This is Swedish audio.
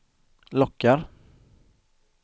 lockar